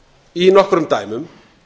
í nokkrum dæmum